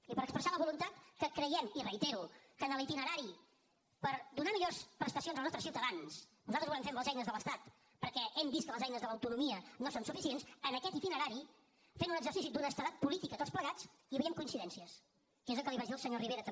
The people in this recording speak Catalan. i per expressar la voluntat que creiem i ho reitero que en l’itinerari per donar millors prestacions als nostres ciutadans nosaltres ho volem fer amb les eines de l’estat perquè hem vist que les eines de l’autonomia no són suficients en aquest itinerari fent un exercici d’honestedat política tots plegats hi havien coincidències que és el que li vaig dir al senyor rivera també